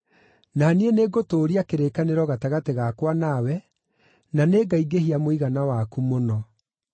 Na niĩ nĩngũtũũria kĩrĩkanĩro gatagatĩ gakwa nawe, na nĩngaingĩhia mũigana waku mũno.”